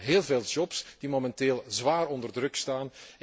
Het gaat om heel veel jobs die momenteel zwaar onder druk staan.